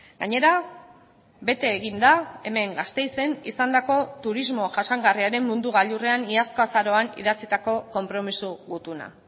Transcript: gainera bete egin da hemen gasteizen izandako turismo jasangarriaren mundu gailurrean iazko azaroan idatzitako konpromiso gutuna